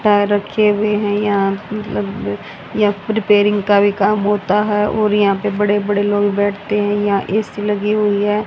Tyre रखे हुए हैं यहां मतलब या रिपेयरिंग का भी काम होता है और यहां पे बड़े बड़े लोग बैठते हैं यहां ए_सी लगी हुई हैं।